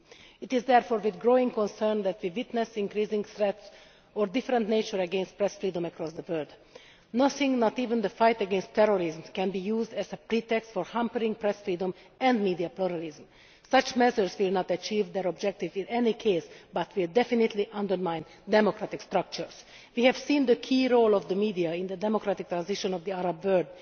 It is therefore with growing concern that we witness increasing threats of a different nature against press freedom across the world. Nothing, not even the fight against terrorism, can be used as a pretext for hampering press freedom and media pluralism. Such measures will not achieve their objective in any case, but they will definitely undermine democratic structures. We have seen the key role of the media in the democratic transition of the Arab world.